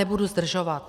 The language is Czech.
Nebudu zdržovat.